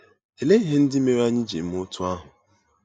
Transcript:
Olee ihe ndị mere anyị ji eme otú ahụ?